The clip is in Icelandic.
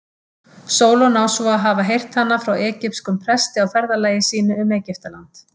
Sólon á svo að hafa heyrt hana frá egypskum presti á ferðalagi sínu um Egyptaland.